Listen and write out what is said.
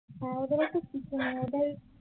ওদের হয়তো কিছু নেই